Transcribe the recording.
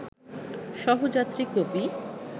সহযাত্রী কবি